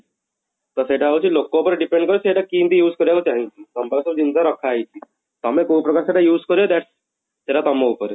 ତ ସେଟା ହଉଛି ଲୋକ ଉପରେ depend କରେ ସେଇଟା କେମିତି use କରିବାକୁ ଚାହିଁଛି ତମ ପାଖରେ ତ ଜିନିଷ ରଖା ହେଇଛି ତମେ କୋଉ ପ୍ରକାର ସେଇଟା use କରିବା that ସେଇଟା ତମ ଉପରେ